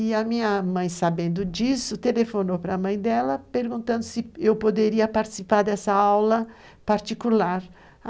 E a minha mãe, sabendo disso, telefonou para a mãe dela perguntando se eu poderia participar dessa aula particular.